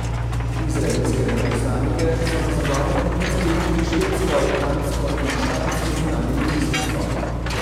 Izraelske veleposlanike so na zagovor poklicali tudi švedsko, dansko in špansko zunanje ministrstvo.